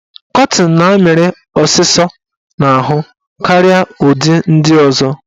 Kọtịn na-amịrị ọsịsọ n'ahụ karịa ụdị ndị ọzọ.